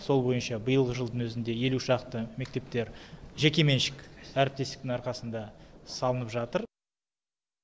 сол бойынша биылғы жылдың өзінде елу шақты мектептер жекеменшік әріптестіктің арқасында салынып жатыр